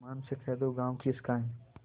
ईमान से कह दो गॉँव किसका है